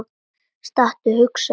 Stattu, hugsa ég.